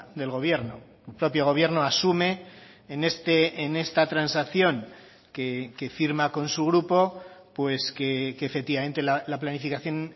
del gobierno el propio gobierno asume en esta transacción que firma con su grupo pues que efectivamente la planificación